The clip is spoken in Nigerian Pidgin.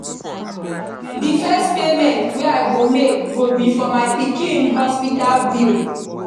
The first payment wey I go make go be for my pikin hospital bill